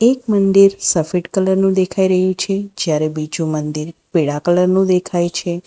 એક મંદિર સફેદ કલર નું દેખાઈ રહ્યુ છે જ્યારે બીજુ મંદિર પીડા કલર નું દેખાઈ છે.